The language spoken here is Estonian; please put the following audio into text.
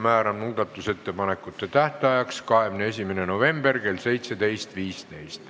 Määran muudatusettepanekute tähtajaks 21. novembri kell 17.15.